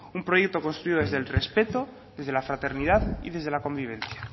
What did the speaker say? un proyecto construido desde el respeto desde la fraternidad y desde la convivencia